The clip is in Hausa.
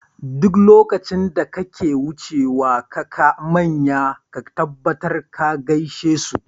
Duk lokacin da kake wucewa kaka manya ka tabbatar ka gaishe su.